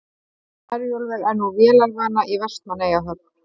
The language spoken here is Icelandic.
Herjólfur er nú vélarvana í Vestmannaeyjahöfn